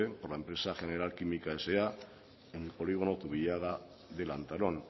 por la empresa general química sa en el polígono zubillaga de lantarón